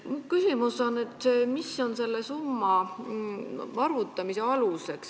Küsimus on, mis on selle summa arvutamise aluseks.